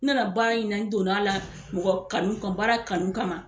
N nana baara in na n donna la mɔgɔ kanu kan baara kanu kama